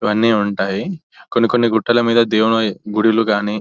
ఇవన్నీ ఉంటాయి. కొన్ని కొన్ని గుట్టల మీద దేవుని గుడులు కానీ--